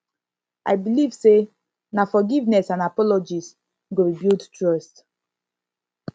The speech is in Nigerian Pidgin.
i believe say na forgiveness and apologies go rebuild trust